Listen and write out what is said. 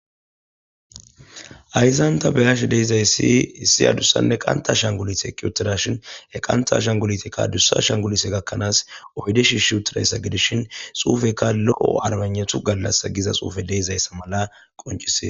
hayisanta beyashe deizayssi hissi adussanne qanta shangulit eqqi uttidashin e qanta shangulitekka adussa shangulise gakkanaas ohyde shi shi utirayssa gidishin xuufekka lo7o armannetu gallas giza xuufe deezayssa mala qoncisie